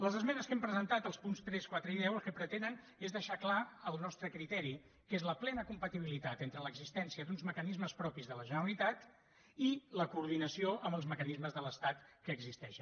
les esmenes que hem presentat als punts tres quatre i deu el que pretenen és deixar clar el nostre criteri que és la plena compatibilitat entre l’existència d’uns mecanismes propis de la generalitat i la coordinació amb els mecanismes de l’estat que existeixen